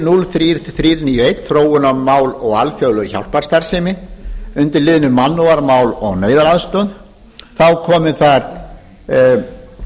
þrjú hundruð níutíu og eitt þróunarmál og alþjóðleg hjálparstarfsemi undir liðnum mannúðarmál og neyðaraðstoð komi